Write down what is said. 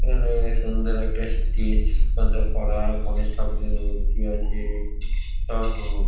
এখানে-এ সুন্দর একটা স্টেচ মতো করা গনেশ ঠাকুরের মূর্তি আছে সব হু --